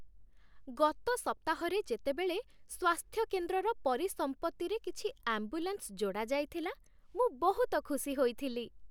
ଗତ ସପ୍ତାହରେ ଯେତେବେଳେ ସ୍ୱାସ୍ଥ୍ୟ କେନ୍ଦ୍ରର ପରିସମ୍ପତ୍ତିରେ କିଛି ଆମ୍ବୁଲାନ୍ସ ଯୋଡ଼ାଯାଇଥିଲା, ମୁଁ ବହୁତ ଖୁସି ହୋଇଥିଲି।